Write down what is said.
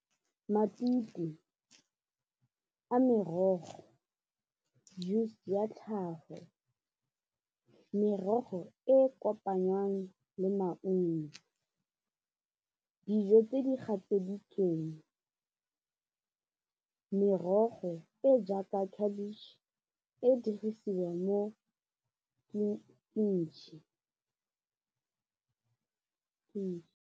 Matute a merogo, juice ya tlhago, merogo e kopanyang le maungo, dijo di gatseditsweng, merogo e jaaka khabitšhe e dirisiwa mo .